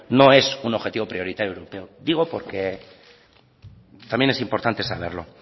no es un objetivo prioritario europeo digo porque también es importante saberlo